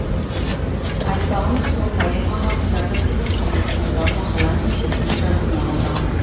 айтпағымыз сол поэма хақында бірде бір көлемді талдау мақала немесе сын жазылмағандығы